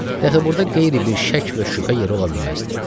Dəxi burda qeyri bir şəkk və şübhə yeri ola bilməzdi.